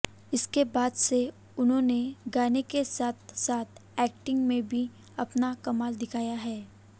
इसके बाद से उन्होंने गाने के साथ साथ एक्टिंग में भी अपना कमाल दिखाया है